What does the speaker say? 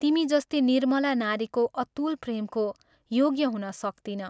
तिमी जस्ती निर्मला नारीको अतुल प्रेमको योग्य हुन सक्तिनँ।